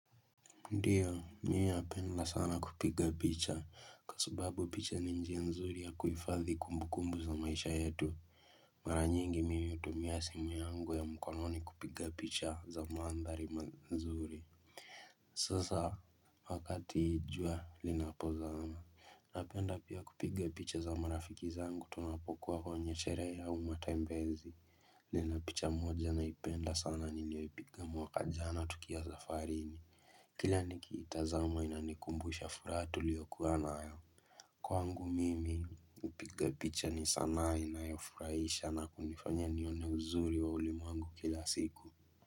Ndio ninapenda sana kupiga picha kwa subabu picha ni njia nzuri ya kuhifadhi kumbu kumbu za maisha yetu mara nyingi mimi hutumia simu yangu ya mkononi kupiga picha za mandhari nzuri sasa wakati jua linapozama napenda pia kupiga picha za marafiki zangu tunapokuwa kwenye sherehe au matembezi Nina picha moja naipenda sana niliyoipiga mwaka jana tukiwa safarini Kila nikiitazama inanikumbusha furaha tuliyokuwa nayo. Kwangu mimi upigapicha ni sanaa inayofurahisha na kunifanya nione uzuri wa ulimwengu kila siku.